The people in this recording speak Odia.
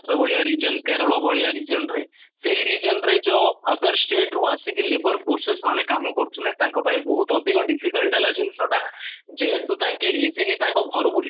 ମହାରାଷ୍ଟ୍ର ଭଳିଆ region କେରଳ ଭଳିଆ region ରେ ସେଇ ରଜିଅନ ରେ ଯୋଉ other state ରୁ ଆସିକି ଯୋଉ labour forces ମାନେ କାମ କରୁଥିଲେ ତାଙ୍କ ପାଇଁ ବହୁତ ଅଧିକ difficult ହେଲା ଯେହେତୁ ତାଙ୍କେ easily ତାଙ୍କ ଘର କୁ